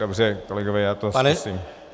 Dobře, kolegové, já to zkusím.